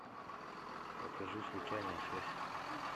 покажи случайная связь